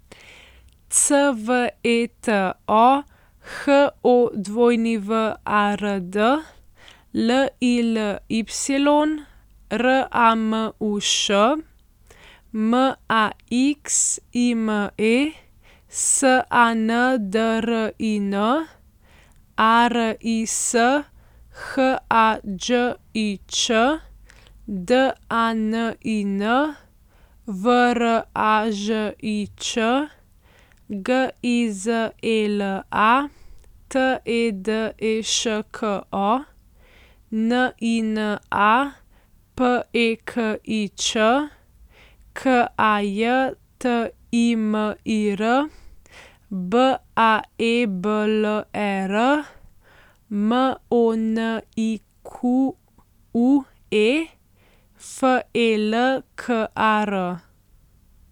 Cveto Howard, Lily Ramuš, Maxime Sandrin, Aris Hađić, Danin Vražič, Gizela Tedeško, Nina Pekić, Kajtimir Baebler, Monique Felkar.